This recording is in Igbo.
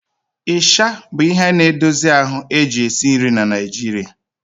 Ịsha bụ ihe na-edozi ahụ a na-eji esi nri na Nigeria